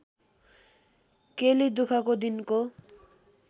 केली दुखको दिनको